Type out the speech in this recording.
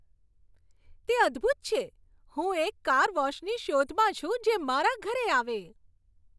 તે અદ્ભૂત છે! હું એક કાર વૉશની શોધમાં છું, જે મારા ઘરે આવે.